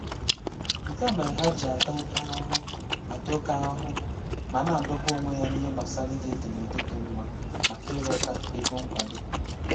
Nke a mere ha ji ata oke ahụhụ ata oke ahụhụ ma na-adọgbu onwe ha n'ihe gbasara ide edemede dị mma maka ịrịọta ego nkwado.